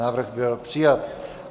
Návrh byl přijat.